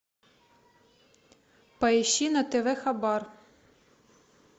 поищи на тв хабар